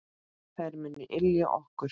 Þær munu ylja okkur.